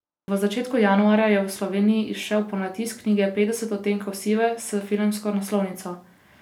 V začetku januarja je v Sloveniji izšel ponatis knjige Petdeset odtenkov sive s filmsko naslovnico.